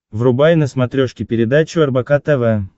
врубай на смотрешке передачу рбк тв